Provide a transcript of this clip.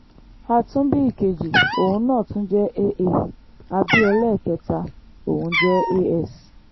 a tún bí ìkejì òun náà tún jẹ́ aa a bí ẹlẹ́ẹ̀kẹta òun jẹ́ as